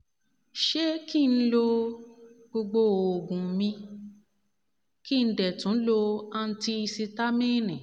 ṣé kí n lo gbogbo oògùn mi kí n dẹ̀ tún tún lo antihisitamíìnì